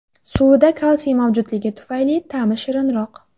Suvida kalsiy mavjudligi tufayli ta’mi shirinroq.